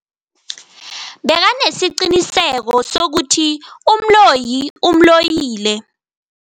Bekanesiqiniseko sokuthi umloyi umloyile.